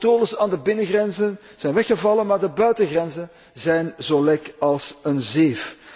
De controles aan de binnengrenzen zijn weggevallen, maar de buitengrenzen zijn zo lek als een zeef.